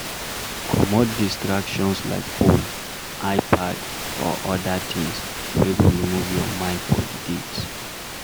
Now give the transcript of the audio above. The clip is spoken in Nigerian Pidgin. Comot distractions like phone, ipad or oda things wey go remove your mind for di date